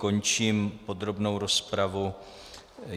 Končím podrobnou rozpravu.